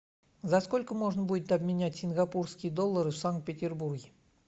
за сколько можно будет обменять сингапурские доллары в санкт петербурге